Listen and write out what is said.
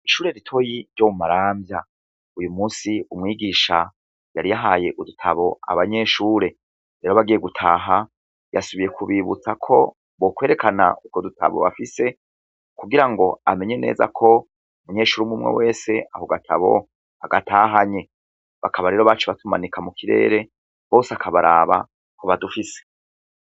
Ishure ritoyi ryo mu Maramvya uyu musi umwigisha yari yahaye udutabo abanyeshure rero bagiye gutaha yasubiye kubibutsa ko bokwerekana utwo dutabo bafise kugira ngo amenye neza ko umunyeshure umw'umwe wese ako gatabo agatahanye, bakaba rero baciye batumanika mu kirere bose akabaraba ko badufise.